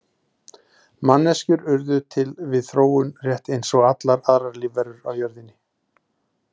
Manneskjur urðu til við þróun rétt eins og allar aðrar lífverur á jörðinni.